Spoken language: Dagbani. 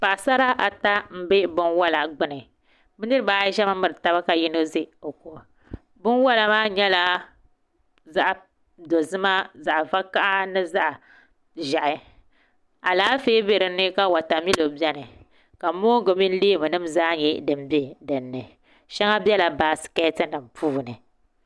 Paɣasara ata n ʒɛ binwola gbuni bi niraba ayi ʒɛmi miri taba ka yino ʒɛ o ko binwola maa nyɛla zaɣ dozima zaɣ vakaɣa ni zaɣ ʒiɛhi Alaafee bɛ dinni ka wotamilo biɛni ka moongu mini leemu nim zaa biɛni shɛŋa biɛla baasikɛti nim puuni